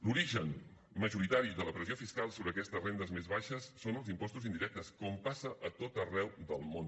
l’origen majoritari de la pressió fiscal sobre aquestes rendes més baixes són els impostos indirectes com passa a tot arreu del món